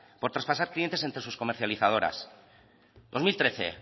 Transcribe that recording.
por traspasar clientes entre sus comercializadores dos mil trece el